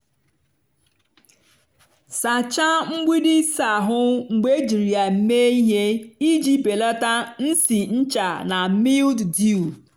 sachaa mgbidi ịsa ahụ mgbe ejiri ya mee ihe iji belata nsị ncha na mildew.